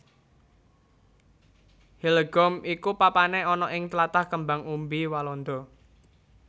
Hillegom iku papané ana ing tlatah kembang umbi Walanda